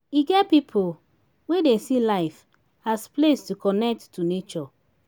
e get pipo wey dey see life as place to connect to nature